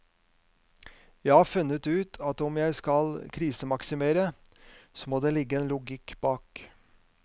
Jeg har funnet ut at om jeg skal krisemaksimere, så må det ligge en logikk bak.